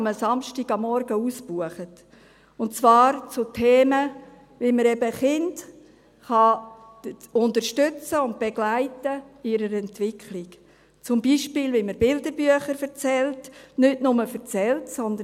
am Samstagmorgen waren sie immer ausgebucht, und zwar zu Themen wie: wie man Kinder in ihrer Entwicklung unterstützen und begleiten kann, zum Beispiel, wie man Kinderbücher erzählt – nicht nur erzählt, sondern: